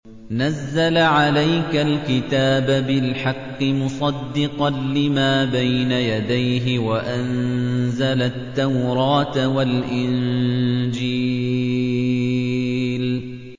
نَزَّلَ عَلَيْكَ الْكِتَابَ بِالْحَقِّ مُصَدِّقًا لِّمَا بَيْنَ يَدَيْهِ وَأَنزَلَ التَّوْرَاةَ وَالْإِنجِيلَ